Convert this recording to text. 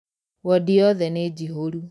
Wodi yothe nĩjihũru.